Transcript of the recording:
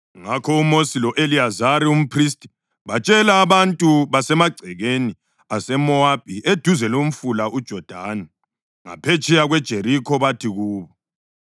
Ngakho uMosi lo-Eliyazari umphristi batshela abantu basemagcekeni aseMowabi eduze lomfula uJodani ngaphetsheya kweJerikho bathi kubo,